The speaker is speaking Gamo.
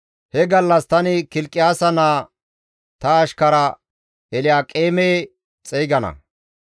«He gallas tani Kilqiyaasa naa ta ashkara Elyaaqeeme xeygana.